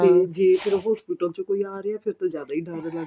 ਤੇ ਜੇ ਫੇਰ hospital ਚੋ ਕੋਈ ਆ ਰਿਹਾ ਫੇਰ ਤਾਂ ਜਿਆਦਾ ਡਰ ਲੱਗਦਾ